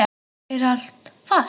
Er allt fast?